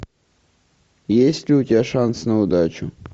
есть ли у тебя шанс на удачу